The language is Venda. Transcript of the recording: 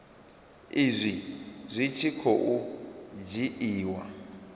izwi zwi tshi khou dzhiiwa